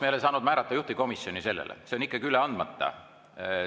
Me ei ole saanud määrata juhtivkomisjoni sellele, see on ikkagi üle andmata.